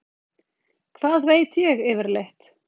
Hvað veit ég yfirleitt?